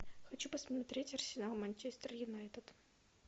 хочу посмотреть арсенал манчестер юнайтед